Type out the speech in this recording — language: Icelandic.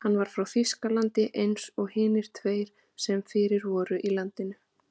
Hann var frá Þýskalandi eins og hinir tveir sem fyrir voru í landinu.